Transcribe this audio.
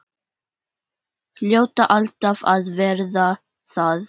Hljóta alltaf að verða það.